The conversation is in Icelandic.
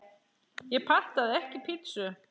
Ég pantaði ekki pítsu